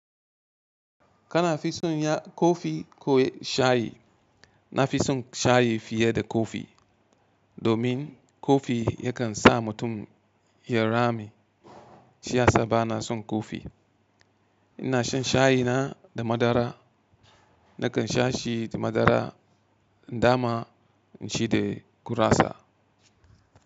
Kana fi son ya kofi ko shayi? Na fi son shayi fiye da kofi domin kofi yakan sa mutum ya rame. Shi ya sa ba na son kofi. Ina shan shayi na da madara. Nakan sha shi da madara dama in shi da gurasa.